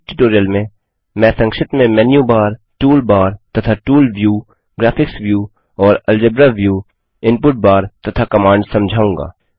इस ट्यूटोरियल में मैं संक्षिप्त में मेनू बार टूल बार तथा टूल व्यू ग्राफिक्स व्यू और अलजेब्रा व्यू इनपुट बार तथा कमांड्स समझाऊँगा